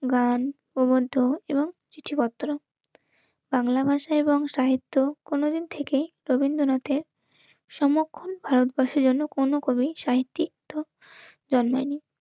গান, প্রবন্ধ, এবং চিঠিপত্র বাংলা ভাষা এবং সাহিত্য কোনোদিন থেকেই রবীন্দ্রনাথের সমক্ষন ভারতবাসী যেন কোনো কবি, সাহিত্যিক, জন্মায় নি,